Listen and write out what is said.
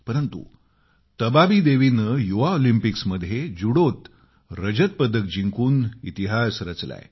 परंतु तबाबी देवीने युवा ऑलिम्पिक्समध्ये जुडोत रजत पदक जिंकून इतिहास रचलाय